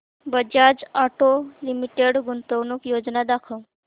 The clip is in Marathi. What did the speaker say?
बजाज ऑटो लिमिटेड गुंतवणूक योजना दाखव